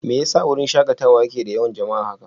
Me yasa wurin shakatawa yake da yawan jama'a haka?